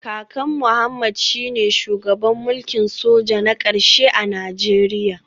Kakan Mohammed shine shugaban mulkin soja na karshe a Najeriya